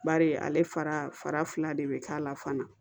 Bari ale fara fara de bɛ k'a la fana